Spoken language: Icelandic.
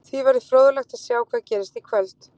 Því verður fróðlegt að sjá hvað gerist í kvöld.